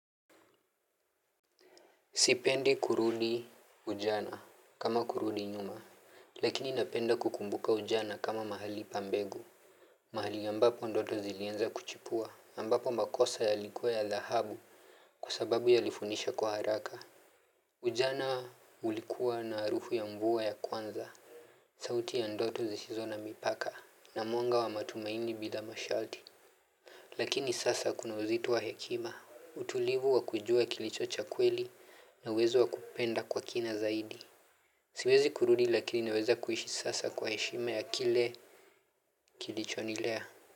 Sipendi kurudi ujana kama kurudi nyuma. Lakini napenda kukumbuka ujana kama mahali pa mbegu. Mahali ambapo ndoto zilianza kuchipua, ambapo makosa yalikuwa ya dhahabu. Kwa sababu yalifundisha kwa haraka. Ujana ulikuwa na harufu ya mvua ya kwanza. Sauti ya ndoto zisizo na mipaka na mwanga wa matumaini bila masharti. Lakini sasa kuna uzito wa hekima, utulivu wa kujua kilicho cha kweli na uwezo wa kupenda kwa kina zaidi. Siwezi kurudi lakini naweza kuishi sasa kwa heshima ya kile kilichonilea.